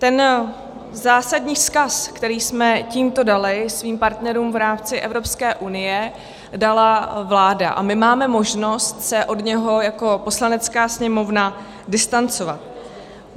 Ten zásadní vzkaz, který jsme tímto dali svým partnerům v rámci Evropské unie, dala vláda a my máme možnost se od něj jako Poslanecká sněmovna distancovat.